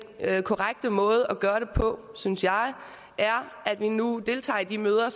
korrekte måde at gøre det på synes jeg er at vi nu deltager i de møder